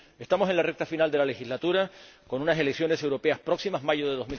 Estamos en la recta final de la legislatura, con unas elecciones europeas próximas mayo de